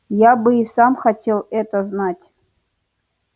я бы и сам хотел это знать